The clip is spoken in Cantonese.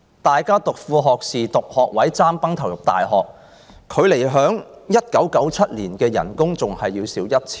大家報讀副學士學位、"爭崩頭"入大學，畢業後的薪金較1997年還要少 1,000 元。